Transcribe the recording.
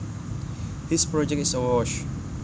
His project is a wash